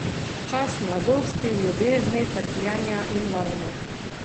Čas mladosti, ljubezni, trpljenja in vojne.